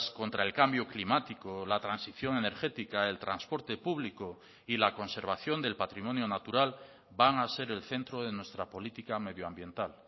contra el cambio climático la transición energética el transporte público y la conservación del patrimonio natural van a ser el centro de nuestra política medioambiental